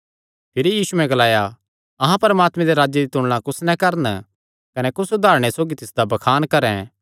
भिरी यीशुयैं ग्लाया अहां परमात्मे दे राज दी तुलणा कुस नैं करन कने कुस उदारणे सौगी तिसदा बखान करन